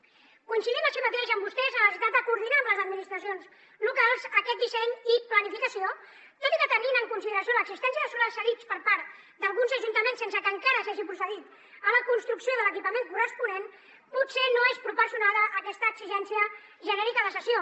coincidim així mateix amb vostès en la necessitat de coordinar amb les administracions locals aquest disseny i planificació tot i que tenint en consideració l’existència de solars cedits per part d’alguns ajuntaments sense que encara s’hagi procedit a la construcció de l’equipament corresponent potser no és proporcionada aquesta exigència genèrica de cessió